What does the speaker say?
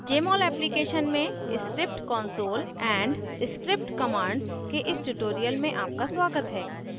jmol application में script console and script commands के इस tutorial में आपका स्वागत है